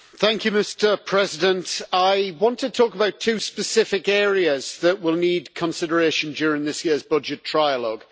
Mr President, I want to talk about two specific areas that will need consideration during this year's budget trilogue.